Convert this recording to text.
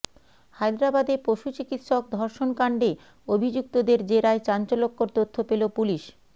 হায়দরাবাদে পশু চিকিত্সক ধর্ষণকাণ্ডে অভিযুক্তদের জেরায় চাঞ্চল্যকর তথ্য পেল পুলিস